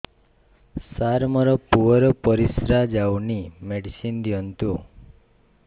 ସାର ମୋର ପୁଅର ପରିସ୍ରା ଯାଉନି ମେଡିସିନ ଦିଅନ୍ତୁ